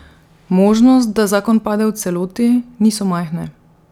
Možnost, da zakon pade v celoti, niso majhne.